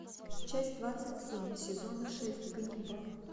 часть двадцать семь сезона шесть ганнибал